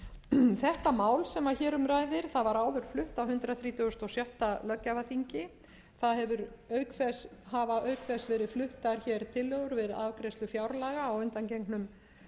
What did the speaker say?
gjafsóknarleyfið þetta mál sem hér um ræðir var áður flutt á hundrað þrítugasta og sjötta löggjafarþingi það hafa auk þess verið fluttar hér tillögur við afgreiðslu fjárlaga á undangengnum